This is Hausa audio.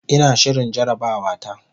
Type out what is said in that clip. Ina shirin jarabawata.